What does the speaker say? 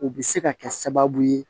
U bɛ se ka kɛ sababu ye